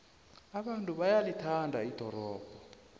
abantu bayalithanda ldorobho